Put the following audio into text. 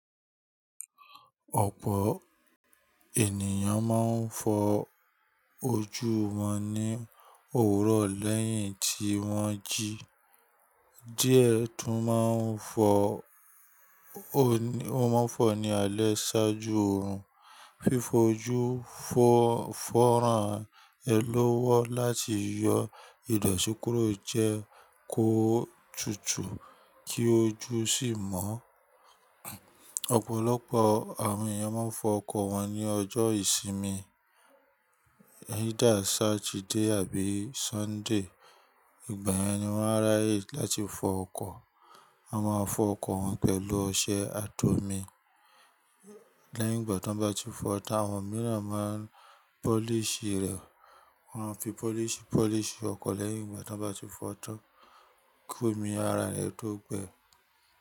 Ọ̀pọ̀ ènìyàn máa ń fọ ojú wọn ní òwúrọ̀ lẹ́yìn tí wọ́n jí. Díẹ̀ tún máa ń fọ, ó mọ́ n fọ ní alẹ́ ṣáájú oorun. Fífọjú fọ́ fọ́ rán ẹ ló wọ́ láti yọ ìdọ̀tí kúrò jẹ kó tutù kí ojú sì mọ́. Ọ̀pọ̀lọpọ̀ àwọn ènìyàn máa ń fọ ọkọ̀ wọn ní ọjọ́ ìsinmi, either Saturday àbí Sunday. Ìgbàyen ni wọ́n á ráyè láti fọ ọkọ̀? A máa fọ ọkọ̀ pẹ̀lú ọṣẹ ati omi. Lẹ́yìn ìgbà tí wọ́n bá ti fọ tán, àwọn mìíràn máa ń polish rẹ̀. Wọ́n a fi polish polish ọkọ̀ lẹ́yìn ìgbà tí wọ́n bá ti fọ tán. Kó mi ara ẹ tó gbẹ.